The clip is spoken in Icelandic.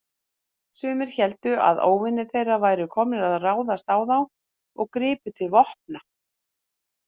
Sumir héldu að óvinir þeirra væru komnir að ráðast á þá og gripu til vopna.